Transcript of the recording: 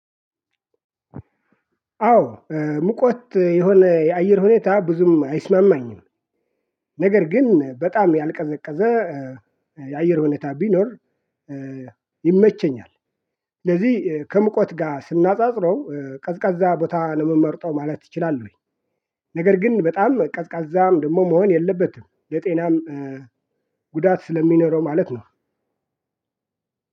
አዎ ሙቀት የሆነ የአየር ሁኔታ ብዙም አይስማማኝም። ነገር ግን በጣም ያልቀዘቀዘ የአየር ሁኔታ ቢኖር ይመቸኛል። ስለዚህ ከሙቀት ጋር ስናነጻጽረው ቀዝቃዛ ቦታ ነው የምመርጠው ማለት እችላለሁኝ። ነገር ግን በጣም ቀዝቃዛም ደግሞ መሆን የለበትም የጤናም ጉዳት ስለሚኖረው ማለት ነው።